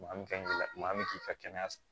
Maa min ka maa bɛ k'i ka kɛnɛya